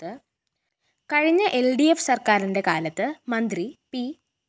കഴിഞ്ഞ L D F സര്‍ക്കാരിന്റെ കാലത്ത് മന്ത്രി പി